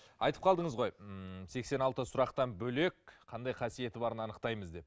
айтып қалдыңыз ғой ммм сексен алты сұрақтан бөлек қандай қасиеті барын анықтаймыз деп